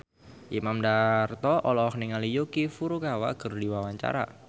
Imam Darto olohok ningali Yuki Furukawa keur diwawancara